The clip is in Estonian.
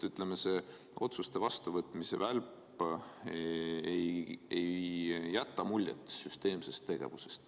Ütleme, et see otsuste vastuvõtmise välp ei jäta muljet süsteemsest tegevusest.